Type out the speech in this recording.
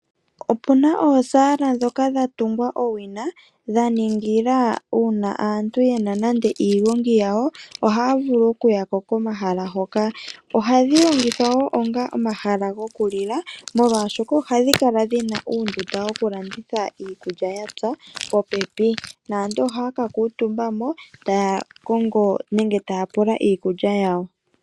Opuna oosaala ndhoka dha tungwa owina. Dha ningila uuna aantu yena nande iigongi yawo ohaya vulu okuya ko komahala hoka. Ohadhi longithwa wo onga omahala gokulila. Molwashoka ohadhi kala dhina uundunda wokulanditha iikulya ya pya popepi. Naantu ohaya ka kuutumba mo taya kongo nenge taya pula iikulya yawo.